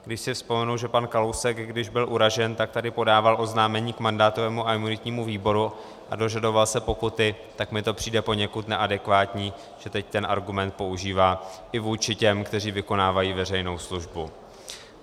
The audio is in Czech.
Když si vzpomenu, že pan Kalousek, když byl uražen, tak tady podával oznámení k mandátovému a imunitnímu výboru a dožadoval se pokuty, tak mi to přijde poněkud neadekvátní, že teď ten argument používá i vůči těm, kteří vykonávají veřejnou službu.